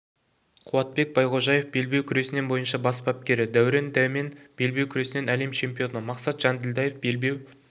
қуатбек байғожаев белбеу күресінен бойынша бас бапкері дәурен дәмен белбеу күресінен әлем чемпионы мақсат жанділдаев белбеу